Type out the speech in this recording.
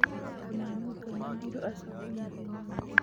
Kamanũnga nĩerĩrwo acoke mũthenya ũngĩ.